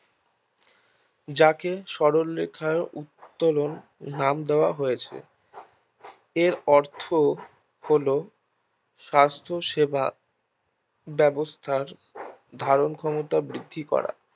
যাকে সরল রেখার উত্তোলন নাম দেওয়া হয়েছে এর অর্থ হলো স্বাস্থ্য সেবা ব্যবস্থার ধারণ ক্ষমতা বৃদ্ধি করা